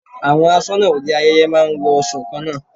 Àwọn aṣọnà òde ayẹyẹ máa ń wọṣọ kan náà.